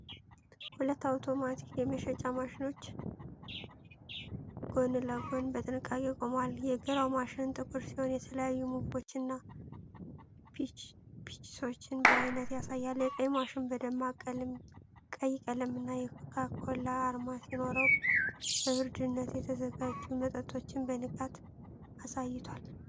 ሁለት አውቶማቲክ የመሸጫ ማሽኖች ጎን ለጎን በጥንቃቄ ቆመዋል። የግራው ማሽን ጥቁር ሲሆን፤ የተለያዩ ምግቦችንና ቺፕሶችን በአይነት ያሳያል። የቀኝ ማሽን በደማቅ ቀይ ቀለምና የኮካ ኮላ አርማ ሲኖረው፤ በብርድነት የተዘጋጁ መጠጦችን በንቃት አሳይቷል።